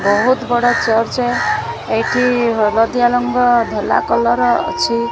ବୋହୁତ ବଡ଼ ଚର୍ଚ୍ଚ ଏଇଠି ହଲଦିଆ ରଙ୍ଗ ଧଲା କଲର୍ ଅଛି।